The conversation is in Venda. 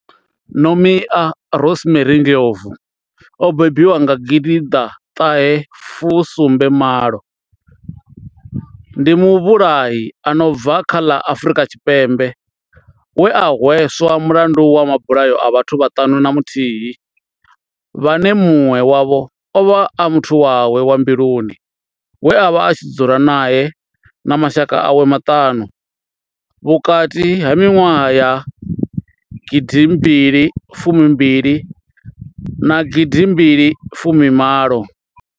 Nomia Rosemary Ndlovu o bebiwaho nga gidiḓa ṱahe fu sumbe malo ndi muvhulahi a no bva kha ḽa Afurika Tshipembe we a hweswa mulandu wa mabulayo a vhathu vhaṱanu na muthihi vhane munwe wavho ovha a muthu wawe wa mbiluni we avha a tshi dzula nae na mashaka awe maṱanu vhukati ha minwaha ya gidi mbili fumi mbili na gidi mbili fumi malo.